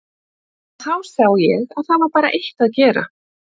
Og þá sá ég að það var bara eitt að gera.